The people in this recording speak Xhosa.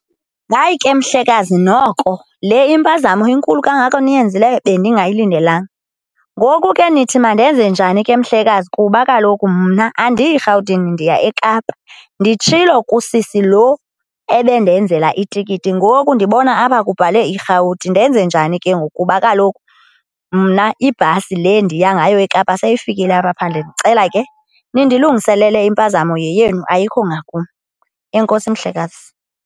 Hayi ke, mhlekazi, noko le impazamo inkulu kangaka niyenzileyo bendingayilindelanga. Ngoku ke nithi mandenze njani ke, mhlekazi, kuba kaloku mna andiyi Rhawutini ndiya eKapa. Nditshilo kusisi lo ebendenzela itikiti ngoku ndibona apha kubhalwe iRhawuti. Ndenze njani ke ngoku? Kuba kaloku mna ibhasi le ndiya ngayo eKapa seyifikile apha phandle ndicela ke nindilungisele impazamo, yeyenu ayikho ngakum. Enkosi, mhlekazi.